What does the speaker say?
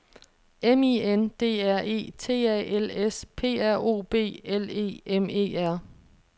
M I N D R E T A L S P R O B L E M E R